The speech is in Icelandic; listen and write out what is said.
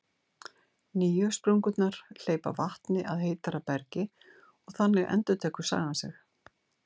Nýju sprungurnar hleypa vatni að heitara bergi, og þannig endurtekur sagan sig.